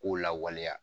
K'o lawaleya